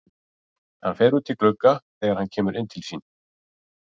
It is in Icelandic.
Hann fer út í glugga þegar hann kemur inn til sín.